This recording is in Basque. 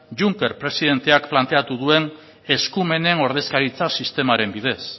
juncker presidenteak planteatu duen eskumenen ordezkaritza sistemaren bidez